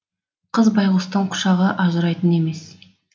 қыз байғұстың құшағы ажырайтын емес